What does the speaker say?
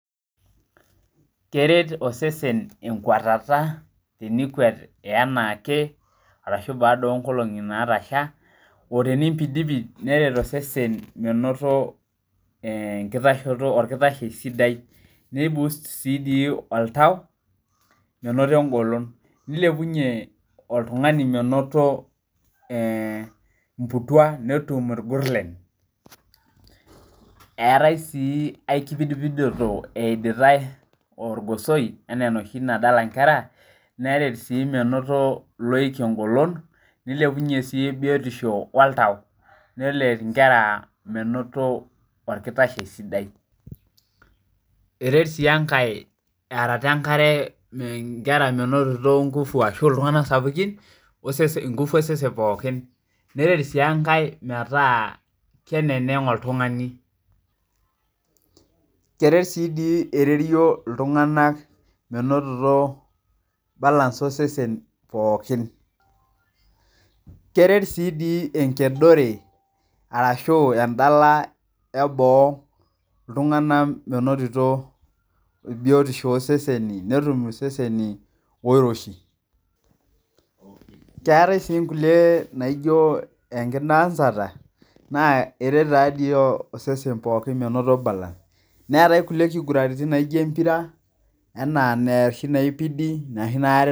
keret osesen inkuatata tenikuat anaake arashu taa duo inkolongi naatasha, oo tinimpidipid neret osesen menoto nkitashoto, olkitashe sidai, neibust si dii oltau menoto engolon, neilepunye oltungani menoto lbutua netum ilgurle. Eatae sii aikipidipidoto eiditae orgosoi enaa enoshi nadala inkera, neret sii menoto loik engolon, neilepunye sii biotishp oltau, neret inkera menoto olkitashe sidai. Eret sii enkae arata enkare inkera menotito ingufu ashu ltungana sapukin, osesen ngufu osesen pookin, neret sii enkae metaa keneng' oltungani. Keret sii dii ererio ltunganak menotito balance osesen pookin. Keret sii dii enkedore ashu arashu endala eboo ltungana menotito biotisho oseseni, netum seseni oiroshi, keatae sii nkule naijo enkidaansata na eret taa dei osesen pooki menoto balance, neatae nkule kiguranitin naijo impira anaa noshi naipidi/